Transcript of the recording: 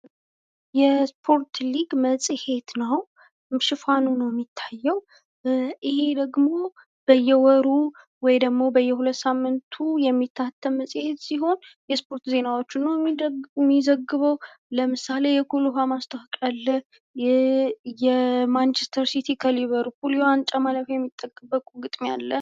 የሶፖርት ሊግ መፅሄት ነዉ። ሽፋኑ ነዉ የሚታየዉ። ይሄ ደግሞ በየወሩ ወይም ደግሞ በየ ሁለት ሳምንቱ ነዉ የሚታተም መፅሔት ሲሆን፤ የስፖርት ዜናዎችን ነዉ የሚዘግበዉ። ለምሳሌ የኩል ዉኃ ማስታወቂያ አለ። ማንችስተር ሲቲ ከሊቨርፑል የዋንጫ ለማለፍ ግጥሚያ አለ።